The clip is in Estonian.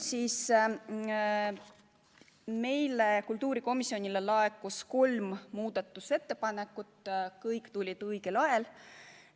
Kultuurikomisjonile laekus kolm muudatusettepanekut, kõik tulid õigel ajal.